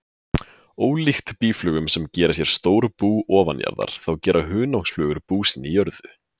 Ólíkt býflugum sem gera sér stór bú ofanjarðar, þá gera hunangsflugur bú sín í jörðu.